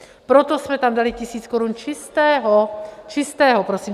Proto jsme tam dali tisíc korun čistého, čistého, prosím.